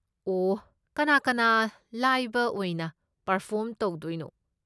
ꯑꯣꯍ, ꯀꯅꯥ ꯀꯅꯥ ꯂꯥꯏꯕ ꯑꯣꯏꯅ ꯄꯔꯐꯣꯔꯝ ꯇꯧꯗꯣꯏꯅꯣ?